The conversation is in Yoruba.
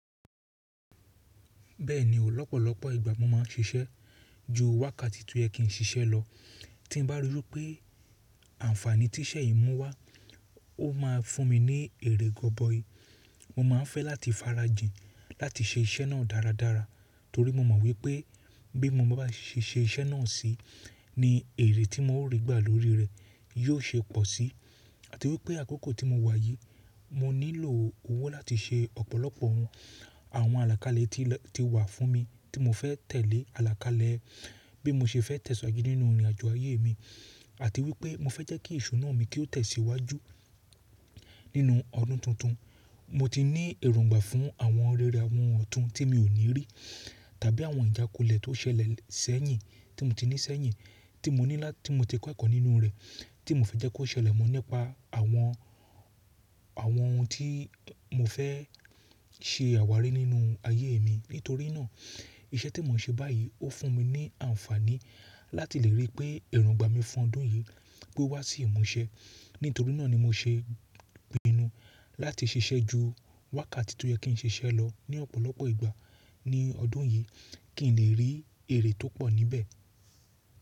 Bẹ́ẹ̀ni o, òpọ̀lọpọ̀ ìgbà mo máa ń siṣẹ́ ju wákàtí tí ó yẹ kí ń siṣẹ́ lọ. Tí n bá rí i pé àǹfààní tí iṣẹ́ yìí mú wá, ó máa fún mi ní èrè gọ̀bọí. Mo máa ń fẹ́ láti fara jìn láti ṣe iṣẹ́ náà dáradára torí mo mọ̀n wipé bí mo bá bà á ṣe iṣẹ́ náà sí ní èrè tí mò ń rí gbà lórí rẹ̀ yóò ṣe pọ̀ si. Àti wí pé àkókò tí mo wà yìí, mo nílò owó láti ṣe ọ̀pọ̀lọpọ̀ ohun, àwọn àlàkálè tí wà fún mi, tí mo fẹ́ tẹ̀lé alákalẹ̀ bí mo ṣe fẹ́ tẹ̀síwájú nínú ìrìnajò ayé mi. Àti wí pé mo fẹ́ jẹ́ kí ìṣuná mi kí ó tẹ̀ síwájú nínú ọdún tuntun. Mo ti ní èròǹgbà fún àwọn rere àwọn ọ̀tún tí mi ò ní rí tàbí àwọn ìjákulẹ̀ tó ṣẹlẹ̀ ṣẹ́yìn tí mo ti ní ṣẹ́yìn, tí mo ti kọ́ ẹ̀kọ́ nínú rẹ̀, tí mo fẹ́ jẹ́ kí ó ṣẹlẹ̀ mọ́ nípa awon àwọn ohun tí mo fẹ́ ṣe àwárí nínú ayé mi. Nítorí náà, iṣẹ́ tí mo ń ṣe báyìí ó fún mi ní àǹfààní láti lè rí pé èròǹgbà mi fún ọdún yìí pé owá sí ìmúṣẹ. Nítorí náà ni mo ṣè pinu láti ṣiṣẹ́ ju wákàtí tí ó yẹ kí ń ṣe iṣẹ́ lọ ní ọ̀pọ̀lọpọ̀ ìgbà ní ọdún yìí, kí ń lè rí èrè tó pọ̀ níbẹ̀.